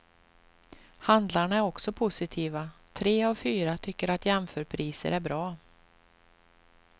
Handlarna är också positiva, tre av fyra tycker att jämförpriser är bra.